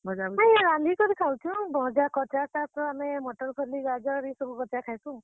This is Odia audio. ହଁ ରାନ୍ଧିକରି ଖାଉଛୁଁ, ଭଜା କଂଚା ଶାଗ୍ ତ ଆମେ ମଟର୍ କଲି, ଗାଜର୍ ଇସବୁ କଂଚା ଖାଏସୁଁ।